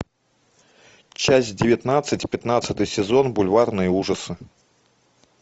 часть девятнадцать пятнадцатый сезон бульварные ужасы